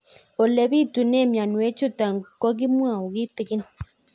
Ole pitune mionwek chutok ko kimwau kitig'ín